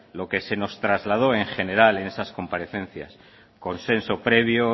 lo que se nos trasladó en general en esas comparecencias consenso previo